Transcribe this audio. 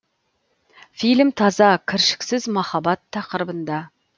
фильм таза кіршіксіз махаббат тақырыбында